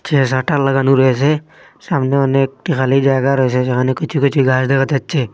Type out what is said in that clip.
চে শাটার লাগানো রয়েসে সামনে অনেকটি খালি জায়গা রয়েসে যেখানে কিছু কিছু গাছ দেখা যাচ্ছে।